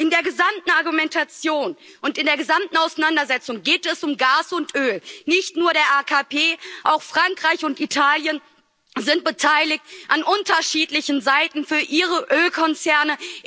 In der gesamten Argumentation und in der gesamten Auseinandersetzung geht es um Gas und Öl, nicht nur der AKP, auch Frankreich und Italien sind beteiligt an unterschiedlichen Seiten für ihre Ölkonzerne.